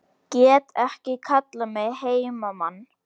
Get ekki kallað mig heimamann